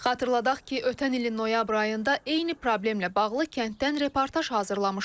Xatırladaq ki, ötən ilin noyabr ayında eyni problemlə bağlı kənddən reportaj hazırlamışdıq.